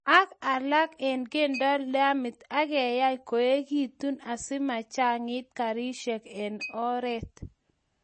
ak alak kendeno lamit ageyai koegigitu asimachangit karishek eng oret